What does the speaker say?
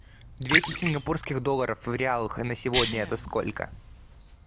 двести сингапурских долларов в реалах на сегодня это сколько